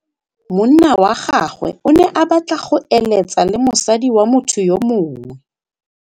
Monna wa gagwe o ne a batla go êlêtsa le mosadi wa motho yo mongwe.